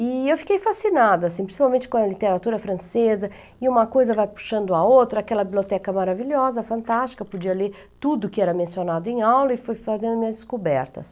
E eu fiquei fascinada, assim, principalmente com a literatura francesa, e uma coisa vai puxando a outra, aquela biblioteca maravilhosa, fantástica, podia ler tudo que era mencionado em aula e fui fazendo minhas descobertas.